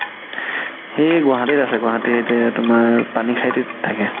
সি গুৱাহাতিত আছে গুৱাহাতিত সেৱা তুমাৰ পানি সাইতিত থাকে